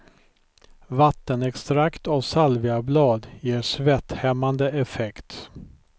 Vattenextrakt av salviablad ger svetthämmande effekt.